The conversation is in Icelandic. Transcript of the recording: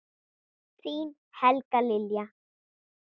Þín Helga Lilja.